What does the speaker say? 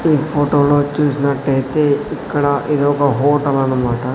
ఈ ఫోటోలో చూసినట్టయితే ఇక్కడ ఇది ఒక హోటల్ అనమాట.